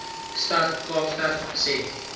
stad kaapstad se